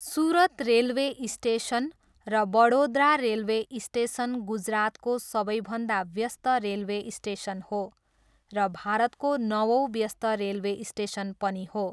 Surat railway station र Vadodara railway station गुजरातको सबैभन्दा व्यस्त रेलवे स्टेसन हो र भारतको नवौँ व्यस्त रेलवे स्टेसन पनि हो।